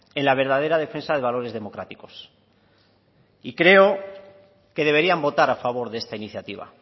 en la verdadera defensa de valores democráticos y creo que deberían votar a favor de esta iniciativa